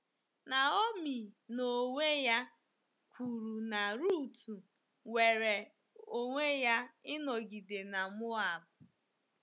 Naomi n’onwe ya kwuru na Ruth nwere onwe ya ịnọgide na Moab